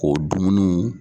K'o dumuni